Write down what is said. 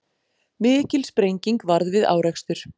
Mikil sprenging varð við árekstur